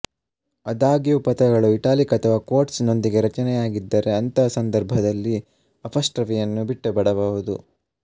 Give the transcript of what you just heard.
ಆದಾಗ್ಯೂ ಪದಗಳು ಇಟ್ಯಾಲಿಕ್ಸ್ ಅಥವಾ ಕ್ವೋಟ್ಸ್ ನೊಂದಿಗೆ ರಚನೆಯಾಗಿದ್ದರೆ ಅಂತಹ ಸಂದರ್ಭದಲ್ಲಿ ಅಪಾಸ್ಟ್ರಫಿಯನ್ನು ಬಿಟ್ಟುಬಿಡಬಹುದು